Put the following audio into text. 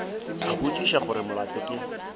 a botšiša gore molato ke